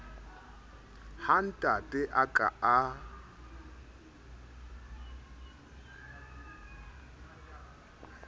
ha ntate a ka a